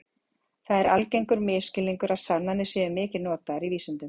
Það er algengur misskilningur að sannanir séu mikið notaðar í vísindum.